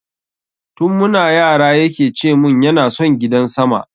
Tun muna yara yake cemun yana son gidan sama